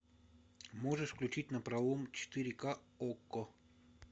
можешь включить напролом четыре к окко